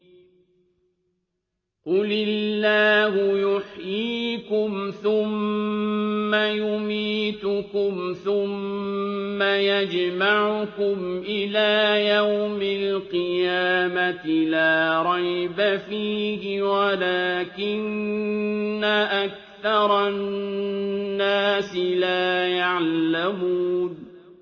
قُلِ اللَّهُ يُحْيِيكُمْ ثُمَّ يُمِيتُكُمْ ثُمَّ يَجْمَعُكُمْ إِلَىٰ يَوْمِ الْقِيَامَةِ لَا رَيْبَ فِيهِ وَلَٰكِنَّ أَكْثَرَ النَّاسِ لَا يَعْلَمُونَ